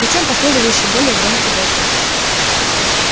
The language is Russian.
затем последовал ещё более громкий возглас